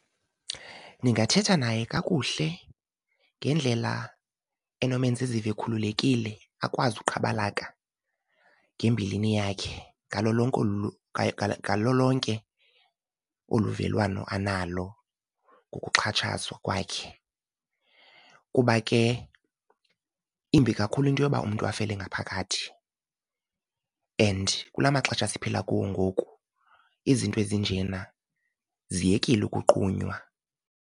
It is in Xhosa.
Ndingathetha naye kakuhle ngendlela enomenza ezive ekhululekile akwazi uqhabalaka ngembilini yakhe ngalo lonke , ngalo lonke olu velwano analo ngokuxhatshazwa kwakhe. Kuba ke imbi kakhulu into yoba umntu afele ngaphakathi and kula maxesha siphila kuwo ngoku izinto ezinjena ziyekile ukuqunywa.